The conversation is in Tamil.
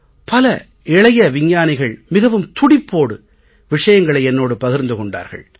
பல இளைய விஞ்ஞானிகள் மிகவும் துடிப்போடு விஷயங்களை என்னோடு பகிர்ந்து கொண்டார்கள்